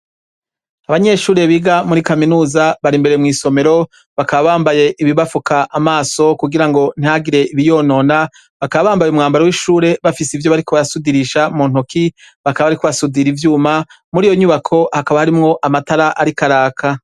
Abanyeshure biga muri kaminuza bari imbere mw'isomero, bakaba bambaye ibibafuka amaso kugira ngo ntihagire ibiyonona, bakaba bambaye umwambaro w'ishure bafise ivyo bariko barasudirisha mu ntoki, bakaba bariko basudira ivyuma. Muri iyo nyubako, hakaba harimwo amatara ariko araka.